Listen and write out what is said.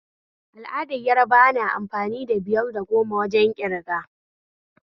Al'adar yarbawa na amfani da biyar da goma wajen ƙirga